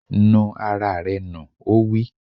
Nu ara rẹ nù! Ó wí.